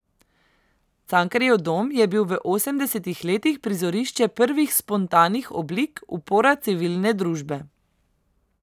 Cankarjev dom je bil v osemdesetih letih prizorišče prvih spontanih oblik upora civilne družbe.